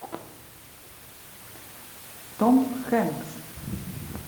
том хэнкс